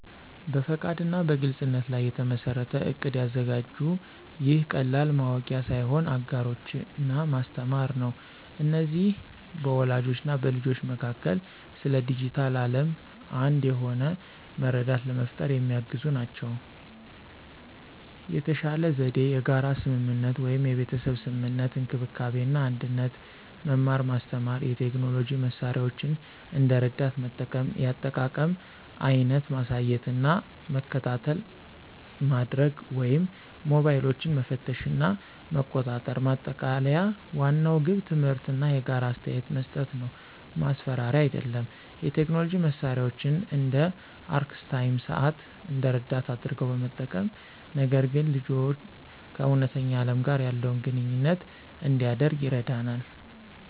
በፈቃድ እና በግልፅነት ላይ የተመሠረተ እቅድ ያዘጋጁ። ይህ ቀላል ማወቂያ ሳይሆን አጋሮች እና ማስተማር ነው። እነዚህ በወላጆች እና በልጆች መካከል ስለ ዲጂታል ዓለም አንድ የሆነ መረዳት ለመፍጠር የሚያግዙ ናቸው። የተሻለ ዘዴ የጋራ ስምምነት (የቤተሰብ ስምምነት፣ እንክብካቤ እና አንድነት፣ መማር ማስተማር፣ የቴክኖሎጂ መሳሪያዎችን እንደ ረዳት መጠቀም፣ የአጠቃቀም አይነት ማሳየት እና መከታተይ ማድርግ ወይም ሞባይሎችን መፈተሽ እና መቆጣጠር። ማጠቃለያ ዋናው ግብ ትምህርት እና የጋራ አስተያየት መስጠት ነው፣ ማስፈራሪያ አይደለም። የቴክኖሎጂ መሳሪያዎችን (እንደ አርክስታይም ሰዓት) እንደ ረዳት አድርገው በመጠቀም፣ ነገር ግን ልጅዎ ከእውነተኛ ዓለም ጋር ያለውን ግንኙነት እንዲያደርግ ይረዳናል።